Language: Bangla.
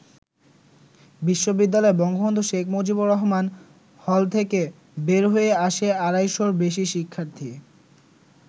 বিশ্ববিদ্যালয়ের বঙ্গবন্ধু শেখ মুজিবুর রহমান হল থেকে বের হয়ে আসে আড়াইশর বেশি শিক্ষার্থী।